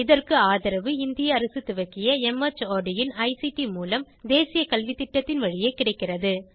இதற்கு ஆதரவு இந்திய அரசு துவக்கிய மார்ட் இன் ஐசிடி மூலம் தேசிய கல்வித்திட்டத்தின் வழியே கிடைக்கிறது